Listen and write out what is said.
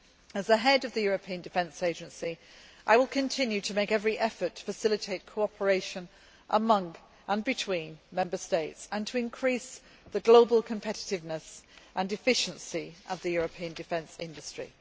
As the Head of the European Defence Agency, I will continue to make every effort to facilitate cooperation among and between Member States and to increase the global competitiveness and efficiency of the European defence industry.